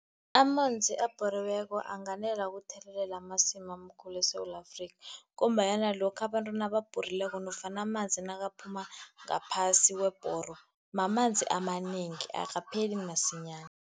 Amanzi abhoriweko anganela ukuthelelela amasimu amakhulu eSewula Afrika, ngombanyana lokha abantu nababhorileko nofana amanzi nakaphuma ngaphasi webhoro, mamanzi amanengi. Akapheli masinyana.